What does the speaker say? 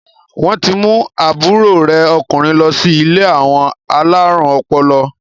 Wọn ti mú àbúrò rẹ̀ ọkùnrin lọ sí ilé àwọn alárùn ọpọlọ?